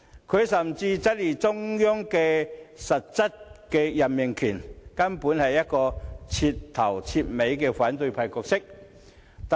他甚至質疑中央的實質任命權，可說是徹頭徹尾的反對派角色。